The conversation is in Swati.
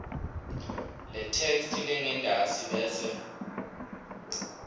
letheksthi lengentasi bese